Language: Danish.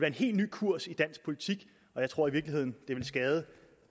en helt ny kurs i dansk politik og jeg tror i virkeligheden det ville skade